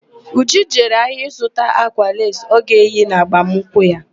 Uju jere ahịa ịzụta ákwà leesi ọ ga-eyi na agbamnkwụ ya.